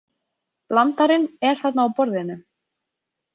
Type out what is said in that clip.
Blandarinn er þarna á borðinu.